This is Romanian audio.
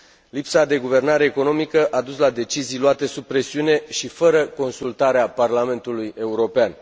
Lipsa de guvernare economică a dus la decizii luate sub presiune și fără consultarea Parlamentului European.